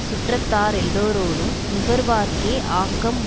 சுற்றத்தா ரெல்லாரோடும் நுகர்வார்க்கே ஆக்கம்